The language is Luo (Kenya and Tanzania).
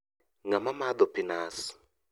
Ng'ama madho pii nas?